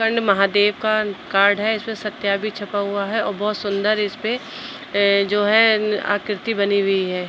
महादेव का कार्ड है। इसमें भी छपा हुआ है और बोहोत सुंदर इसपे ए जो है ऊं आकृति बनी हुई है।